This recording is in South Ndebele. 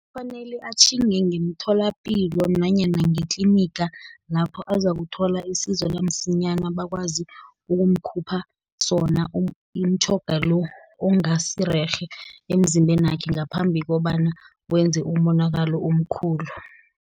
Kufanele atjhinge ngemtholapilo nanyana ngetliniga, lapho azakuthola isizo lamsinyana, bakwazi ukumkhupha sona, umtjhoga lo, ongasirerhe emzimbenakhe, ngaphambi kobana wenze umonakalo omkhulu.